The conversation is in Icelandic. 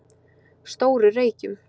Stóru Reykjum